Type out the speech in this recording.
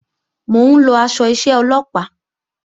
Mò ń lọ aṣọ iṣẹ́ Ọlọ́pàá